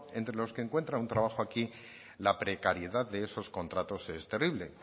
entre los que encuentran un trabajo aquí la precariedad de esos contratos es terrible